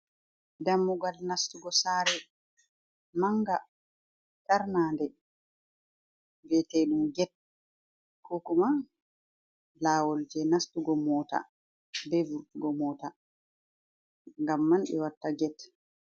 Dammugal nastugo sare. Manga tarna nde vi'ete ɗum ged ko kuma lawol je nastugo mota be vurgo mota ngam man ɓe watta ged.